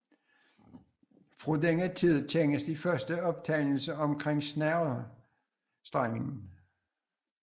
Fra denne tid kendes de første optegnelser omkring snerrestrengen